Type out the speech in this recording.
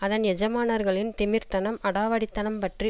அதன் எஜமானர்களின் திமிர்த்தனம் அடாவடி தனம் பற்றி